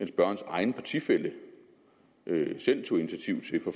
spørgerens egen partifælle selv tog initiativ til for